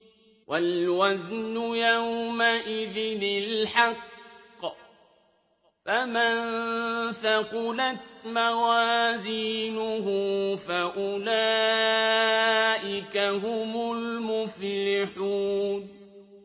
وَالْوَزْنُ يَوْمَئِذٍ الْحَقُّ ۚ فَمَن ثَقُلَتْ مَوَازِينُهُ فَأُولَٰئِكَ هُمُ الْمُفْلِحُونَ